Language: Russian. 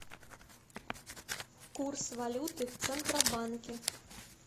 курс валюты в центробанке